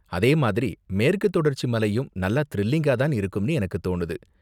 அதே மாதிரி மேற்குத் தொடர்ச்சி மலையும் நல்லா திரில்லிங்கா தான் இருக்கும்னு எனக்குத் தோணுது.